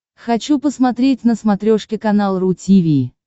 хочу посмотреть на смотрешке канал ру ти ви